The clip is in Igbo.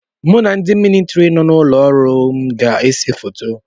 Mụ na ndị militiri nọ n'ụlọ ọrụ m ga ese foto.